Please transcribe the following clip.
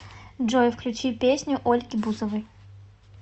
джой включи песню ольги бузовой